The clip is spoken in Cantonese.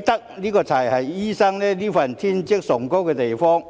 德，這才是醫生這份職業崇高的地方。